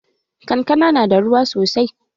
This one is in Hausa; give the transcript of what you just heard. Kankana na da ruwa sosai.